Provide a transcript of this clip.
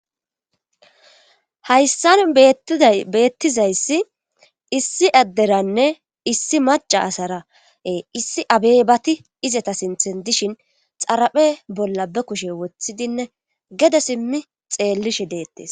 Hayssan beettizayssi issi adderanne issi maca asarae issi abey bati izeta sinthe dishin xaraphe bolla be kushe woththidinne gede simmi xeellishe deettes.